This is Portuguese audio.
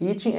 E tinha,